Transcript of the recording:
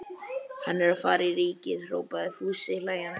Hann er að fara í Ríkið! hrópaði Fúsi hlæjandi.